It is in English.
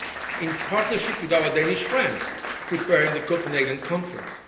done and in partnership with our Danish friends preparing the Copenhagen conference.